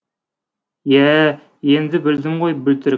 иә ә енді білдім ғой бөлтір